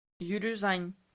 юрюзань